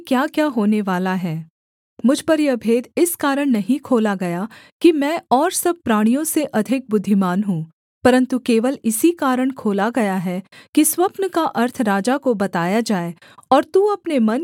मुझ पर यह भेद इस कारण नहीं खोला गया कि मैं और सब प्राणियों से अधिक बुद्धिमान हूँ परन्तु केवल इसी कारण खोला गया है कि स्वप्न का अर्थ राजा को बताया जाए और तू अपने मन के विचार समझ सके